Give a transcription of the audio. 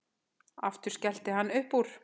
Aftur skellir hann upp úr.